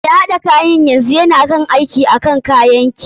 Mai haɗa kayan yanzu na aiki akan kayan ki.